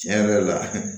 Tiɲɛ yɛrɛ la